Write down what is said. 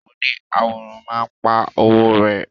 Oni àwòrán ma pa owo rẹ.